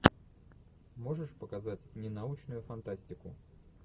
можешь показать ненаучную фантастику